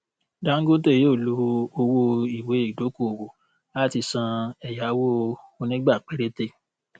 dangote yóò lo owó ìwéìdókòwó láti san ẹyáwó onígbà péréte